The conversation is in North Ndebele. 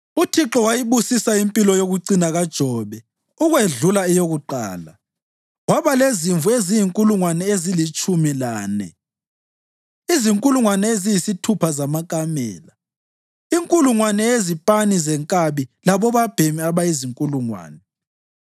UThixo wayibusisa impilo yokucina kaJobe ukwedlula eyokuqala. Waba lezimvu eziyizinkulungwane ezilitshumi lane, izinkulungwane eziyisithupha zamakamela, inkulungwane yezipani zenkabi labobabhemi abayinkulungwane.